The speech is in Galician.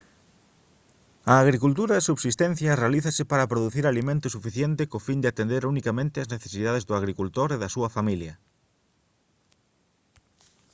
a agricultura de subsistencia realízase para producir alimento suficiente co fin de atender unicamente as necesidades do agricultor e da súa familia